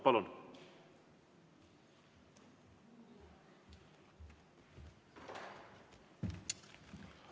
Palun!